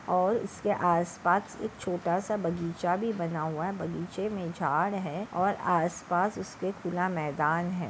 और इसके आस पास एक छोटासा बगीचा भी बना हुआ है बगीचे मे झाड है और आस पास उसके पूरा मैदान है।